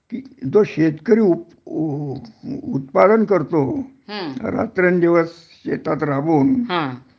तो शेतकरी उ उ उ उत्पादन करतो रात्रंदिवस शेतात राबून